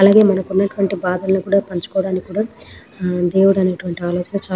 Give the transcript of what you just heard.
అలాగే మనకి ఉన్నటువంటి భాధలని కూడా పంచుకోవడానికి కూడా దేవుడు అనేటువంటి ఆలోచన చాల --